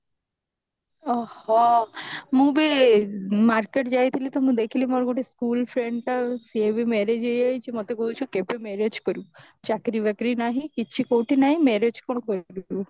ଓଃହୋ ମୁଁ ବି market ଯାଇଥିଲି ତ ମୁଁ ଦେଖିଲି ମୋର ଗୋଟେ school friend ଟା ସିଏ ବି marriage ହେଇ ଯାଇଛି ମତେ କହୁଛି ତୁ କେବେ marriage କରିବୁ ଚାକିରି ବାକିରି ନାହିଁ କିଛି କଉଠି ନାହିଁ marriage କଣ କରିବୁ